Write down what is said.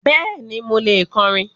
Bẹ́ẹ̀ni, mo lè kọrin.